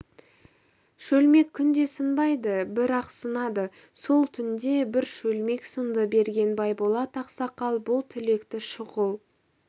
шөлмек күнде сынбайды бір-ақ сынады сол түнде бір шөлмек сынды берген байболат ақсақал бұл тілекті шұғыл